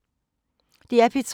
DR P3